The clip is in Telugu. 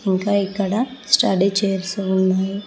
ఇంకా ఇక్కడ స్టడీ చేయిర్సు ఉన్నాయి.